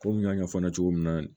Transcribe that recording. Komi n y'a ɲɛfɔ n ɲɛna cogo min na